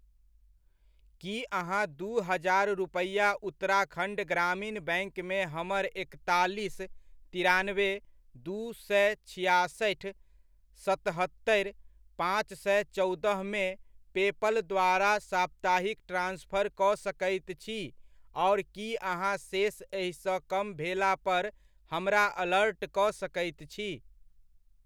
की अहाँ दू हजार रुपैआ उत्तराखण्ड ग्रामीण बैङ्कमे हमर एकतालीस, तिरानबे, दू सए छिआसठि, सतहत्तरि, पाँच सए चौदहमे पेपल द्वारा साप्ताहिक ट्रान्सफर कऽ सकैत छी आओर की अहाँ शेष एहिसँ कम भेलापर हमरा अलर्ट कऽ सकैत छी?